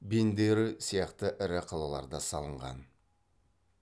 бендеры сияқты ірі қалаларда салынған